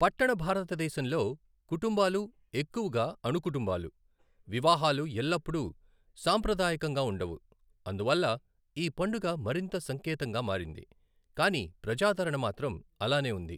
పట్టణ భారతదేశంలో, కుటుంబాలు ఎక్కువగా అణు కుటుంబాలు, వివాహాలు ఎల్లప్పుడూ సాంప్రదాయకంగా ఉండవు, అందువల్ల ఈ పండుగ మరింత సంకేతంగా మారింది, కానీ ప్రజాదరణ మాత్రం అలానే ఉంది.